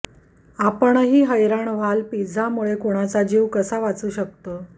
आपणही हैराण व्हाल पिझ्झामुळं कुणाचा जीव कसा काय वाचू शकतो